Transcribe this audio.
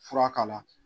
Fura k'a la